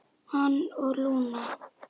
Hann og Lúna.